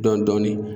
Dɔɔnin-dɔɔnin